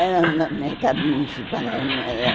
Era no Mercado Municipal.